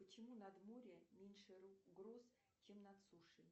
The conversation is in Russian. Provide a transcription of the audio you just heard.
почему над морем меньше гроз чем над сушей